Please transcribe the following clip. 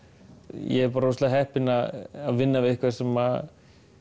ég er bara svo heppinn að vinna við eitthvað sem